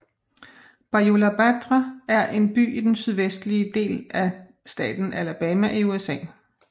Bayou La Batre er en by i den sydvestlige del af staten Alabama i USA